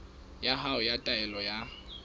ya hao ya taelo ya